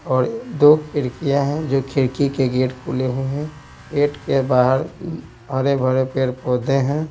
और दो खिड़कियां हैं जो खिड़की के गेट खुले हुए हैं गेट के बाहर हरे भरे पेड़ पौधे हैं।